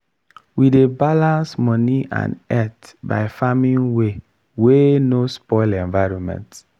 we dey balance money and earth by farming way wey no spoil environment.